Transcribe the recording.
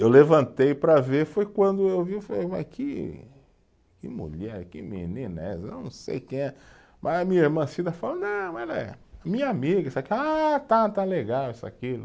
Eu levantei para ver, foi quando eu vi, eu falei uai que, que mulher, que menina é essa, eu não sei quem é, mas a minha irmã Cida falou, não, ela é minha amiga, isso aqui, ah, tá, está legal, isso e aquilo.